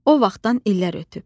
O vaxtdan illər ötüb.